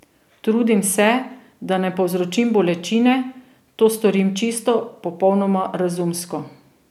Trudim se, da ne povzročim bolečine, to storim čisto, popolnoma razumsko.